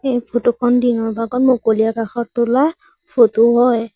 এই ফটো খন দিনৰ ভাগত মুকলি আকাশত তোলা ফটো হয়।